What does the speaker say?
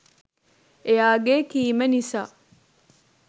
එයාගේ කීම නිසා